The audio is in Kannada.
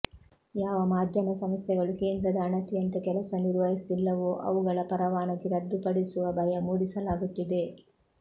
ಯಾವ ಮಾಧ್ಯಮ ಸಂಸ್ಥೆಗಳು ಕೇಂದ್ರದ ಅಣತಿಯಂತೆ ಕೆಲಸ ನಿರ್ವಹಿಸುವುದಿಲ್ಲವೋ ಅವುಗಳ ಪರವಾನಗಿ ರದ್ದುಪಡಿಸುವ ಭಯ ಮೂಡಿಸಲಾಗುತ್ತಿದೆ